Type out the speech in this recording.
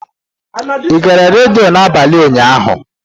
Ị gere redio n'abalị ụnyaahụ?